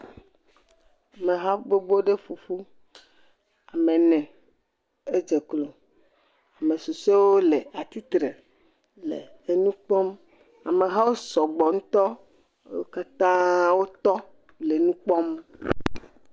Ameha gbogbo aɖe ƒoƒu. Ame ene dze klo. Ame susuea le atsitre le nu kpɔm. Amehawo sɔgbɔ ŋutɔ. Wo katã wotɔ nukpɔm.